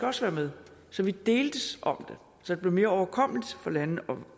også være med så vi deltes om så det blev mere overkommeligt for landene at